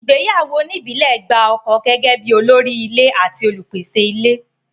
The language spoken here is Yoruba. Ìgbéyàwó oníìbílẹ̀ gba ọkọ gẹ́gẹ́ bí olórí ilé àti olùpèsè ilé.